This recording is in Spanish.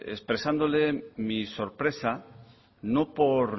expresándole mi sorpresa no por